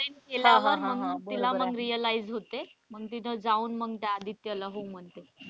केल्यावर मग तिला मग realize होते मग तिथं जाऊन मग त्या आदित्य ला हो म्हणते.